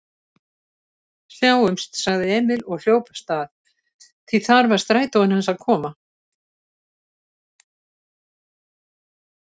Sjáumst, sagði Emil og hljóp af stað, því þar var strætóinn hans að koma.